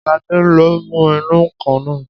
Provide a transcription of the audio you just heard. Ṣadé ló mú ìnù-ǹkan náà